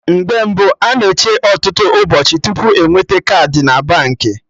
Mgbe mbụ, a na-eche ọtụtụ ụbọchị tupu enweta kaadị na Baankị